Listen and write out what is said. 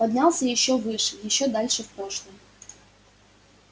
поднялся ещё выше ещё дальше в прошлое